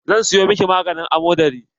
Zan siyo miki maganin amodari.